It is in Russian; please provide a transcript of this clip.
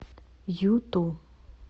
юту